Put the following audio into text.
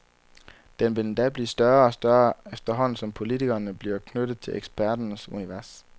Den vil endda blive større og større, efterhånden som politikerne bliver knyttet til eksperternes univers.